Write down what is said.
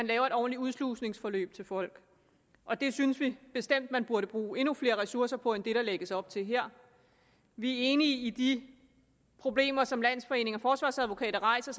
lave et ordentligt udslusningsforløb folk og det synes vi bestemt man burde bruge endnu flere ressourcer på end det der lægges op til her vi er enige i de problemer som landsforeningen af forsvarsadvokater rejser